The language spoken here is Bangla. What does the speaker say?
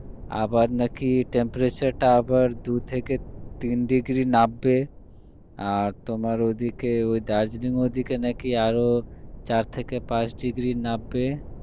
আবার নাকি temperature টা আবার নাকি দু থেকে তিন degree নামবে আর তোমার ওদিকে ওই দার্জিলিং এর ওদিকে নাকি আরোচার থেকে পাঁচ degree নামবে